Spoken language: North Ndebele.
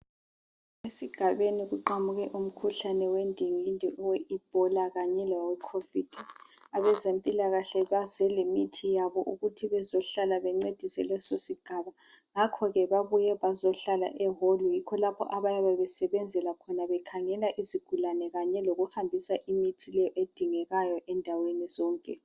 Esigabeni kuqhamuke umkhuhlane wendingindi, owe ebola kanye lowecovid. Abezempilakahle baze lemithi yabo, ukuthi bazehlala bancedise lesosigaba. Ngakho ke babuye bazehlala ehall. Yikho lapho abayabe besebenzela khona. Bekhangela izigulane. Behambisa lemithi leyo edingakalayo, endaweni zonke